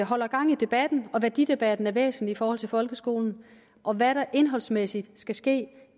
holder gang i debatten og værdidebatten er væsentlig i forhold til folkeskolen og hvad der indholdsmæssigt skal ske